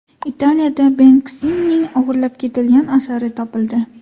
Italiyada Benksining o‘g‘irlab ketilgan asari topildi.